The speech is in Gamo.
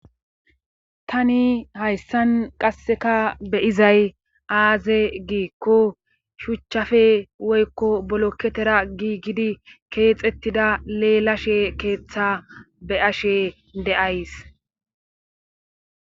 Tani hayssan qassekka be'zay aazee giiko shuchchappe woykko bulketera giigidi keexxetida leelashe keeththa be'ashe de'ayss.